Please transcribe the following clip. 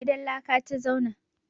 Gidan laka ta zauna.